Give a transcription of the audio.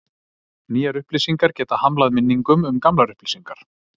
nýjar upplýsingar geta hamlað minningum um gamlar upplýsingar